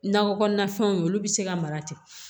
Nakɔ kɔnɔnafɛnw ye olu bɛ se ka mara ten